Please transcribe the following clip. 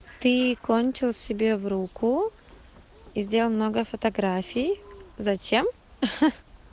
ты кончил себе в руку и сделал много фотографий зачем ха-ха